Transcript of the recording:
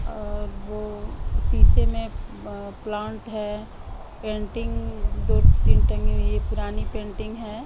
और वो शीशे में प्लांट है पेंटिंग दो तीन टंगी हुई है पुरानी पेंटिंग है।